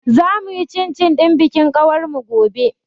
Za mu yi cin cin ɗin bikin ƙawar mu gobe.